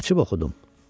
Açıb oxudum.